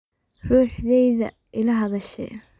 Ruxteydha ila hadashe.